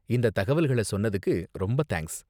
இந்த தகவல்கள சொன்னத்துக்கு ரொம்ப தேங்க்ஸ்.